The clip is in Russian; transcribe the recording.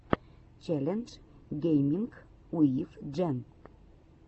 челлендж гейминг уив джен